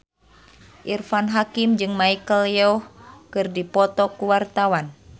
Irfan Hakim jeung Michelle Yeoh keur dipoto ku wartawan